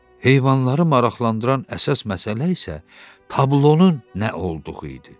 Heyvanları maraqlandıran əsas məsələ isə tablonun nə olduğu idi.